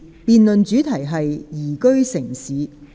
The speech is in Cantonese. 辯論主題是"宜居城市"。